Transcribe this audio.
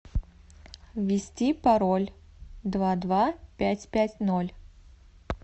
ввести пароль два два пять пять ноль